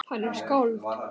Hann er skáld